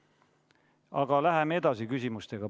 Aga läheme edasi küsimustega.